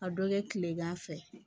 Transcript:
A dɔ kɛ tilegan fɛ